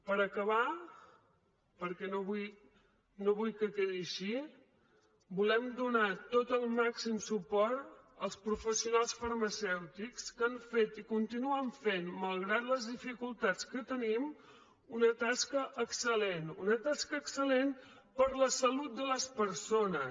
per acabar perquè no vull que quedi així volem donar tot el màxim suport als professionals farmacèutics que han fet i continuen fent malgrat les dificultats que tenim una tasca excel·lent una tasca excelsalut de les persones